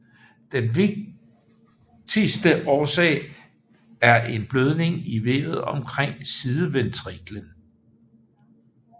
Den vigtigste årsag er en blødning i vævet omkring sideventriklen